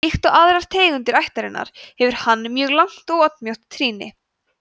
líkt og aðrar tegundir ættarinnar hefur hann mjög langt og oddmjótt trýni